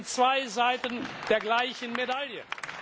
Das sind zwei Seiten der gleichen Medaille.